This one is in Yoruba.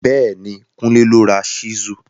Béèní, Kunle ló ra Ṣísù.